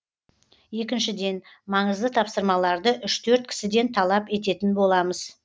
екіншіден маңызды тапсырмаларды үш төрт кісіден талап ететін боламыз